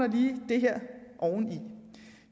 lige det her oveni